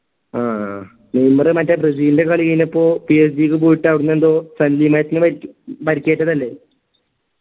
ആ നെയ്മർ മറ്റേ ബ്രസീലിൻറെ കളിയിള്ളപ്പോ PSG ക്ക് പോയിട്ട് അവിടുന്നെന്തോ പരി പരിക്കേറ്റതല്ലേ